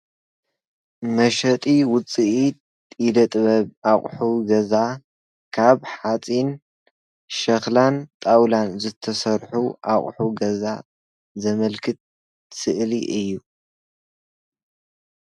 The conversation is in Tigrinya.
መሸጢ ውፅኢት ኢደ-ጥበብ ኣቕሑ ገዛ ካብ ሓፂን፣ ሸኽላን ጣውላን ዝተሰርሑ ኣቑሑ ገዛ ዘመልክት ስእሊ እዩ፡፡